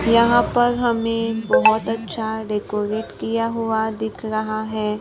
यहां पर हमें बहोत अच्छा डेकोरेट किया हुआ दिख रहा है।